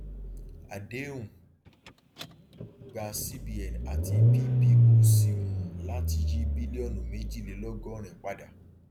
àdéhùn gba cbn àti pboc um láti yí bílíọnù méjìlélọgọrin padà